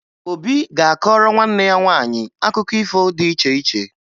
Obi ga-akọọrọ nwanne ya nwaanyị akụkọ ifo dị iche iche